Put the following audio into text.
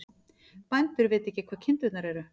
Bændur vita ekki hvar kindurnar eru